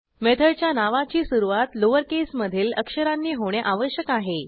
मेथडच्या नावाची सुरूवात लोअर केसमधील अक्षरांनी होणे आवश्यक आहे